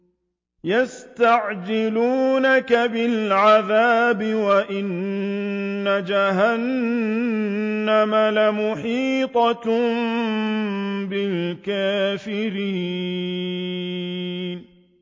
يَسْتَعْجِلُونَكَ بِالْعَذَابِ وَإِنَّ جَهَنَّمَ لَمُحِيطَةٌ بِالْكَافِرِينَ